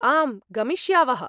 आम्, गमिष्यावः।